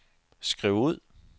skriv ud